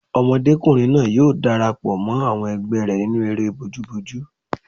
Ọmọdékùnrin náà yóò darapọ̀ mọ́ àwọn ẹgbẹ́ rẹ̀ nínú eré bojúbojú